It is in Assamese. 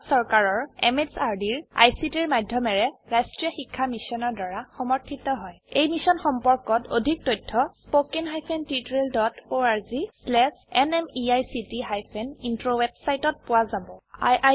ই ভাৰত চৰকাৰৰ MHRDৰ ICTৰ মাধয়মেৰে ৰাস্ত্ৰীয় শিক্ষা মিছনৰ দ্ৱাৰা সমৰ্থিত হয় এই মিশ্যন সম্পৰ্কত অধিক তথ্য spoken hyphen tutorial dot org slash এনএমইআইচিত হাইফেন ইন্ট্ৰ ৱেবচাইটত পোৱা যাব